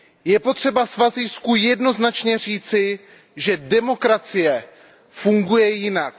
Je potřeba Svazijsku jednoznačně říci, že demokracie funguje jinak.